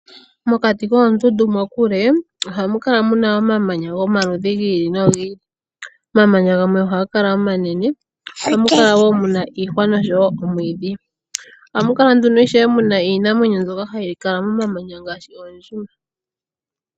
Mokati koondundu mokule ohamu kala muna omamanya gomaludhi gi ili nogi ili. Omamanya gamwe ohaga kala omanene. Ohamu kala wo muna iihwa nosho wo omwiidhi. Oha mukala nduno ishewe iinamwenyo mbyoka hayi kala momamaya ngaashi oondjima.